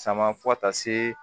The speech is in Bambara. Sama fo ka taa se